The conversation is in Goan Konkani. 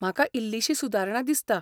म्हाका इल्लीशी सुदारणा दिसता.